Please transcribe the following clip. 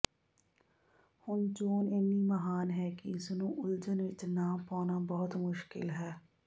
ਹੁਣ ਚੋਣ ਇੰਨੀ ਮਹਾਨ ਹੈ ਕਿ ਇਸ ਨੂੰ ਉਲਝਣ ਵਿਚ ਨਾ ਪਾਉਣਾ ਬਹੁਤ ਮੁਸ਼ਕਿਲ ਹੈ